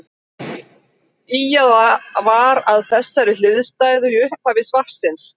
Ýjað var að þessari hliðstæðu í upphafi svarsins.